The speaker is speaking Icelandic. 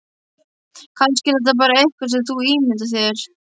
Kannski er þetta bara eitthvað sem þú ímyndar þér.